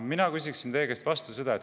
Mina küsiksin teie käest vastu niimoodi.